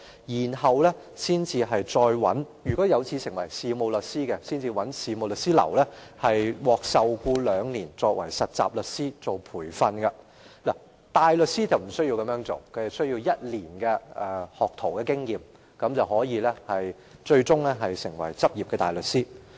如果在完成課程後有志成為事務律師，便要在事務律師樓受僱接受兩年事務律師的培訓，而大律師則沒有這項要求，只須具備1年學徒經驗便可以成為執業大律師。